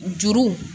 Juru